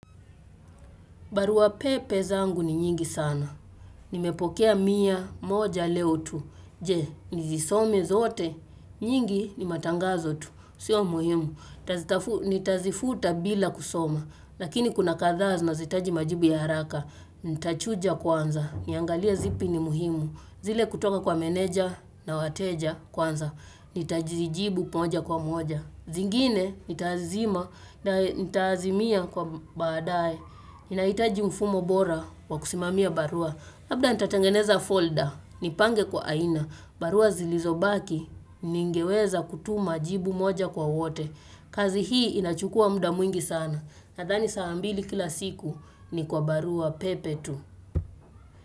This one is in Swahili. Baruwa pepe zangu ni nyingi sana. Nimepokea mia moja leo tu. Je, nizisome zote. Nyingi ni matangazo tu. Sio muhimu. Nitazifuta bila kusoma. Lakini kuna kadhaa zinazohitaji majibu ya haraka. Nitachuja kwanza. Niangalie zipi ni muhimu. Zile kutoka kwa meneja na wateja kwanza. Nitazijibu moja kwa moja. Zingine, nitazima na nitazimia kwa baadaye. Ninahitaji mfumo bora wa kusimamia barua labda natatengeneza folder, nipange kwa aina barua zilizobaki, ningeweza kutuma jibu moja kwa wote kazi hii inachukua muda mwingi sana Nadhani saa mbili kila siku ni kwa barua pepe tu.